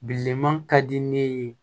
Bilenman ka di ne ye